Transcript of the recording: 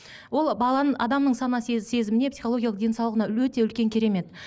ол баланың адамның сана сезіміне психологиялық денсаулығына өте үлкен керемет